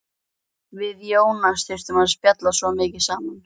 Við Jónas þurftum að spjalla svo mikið saman.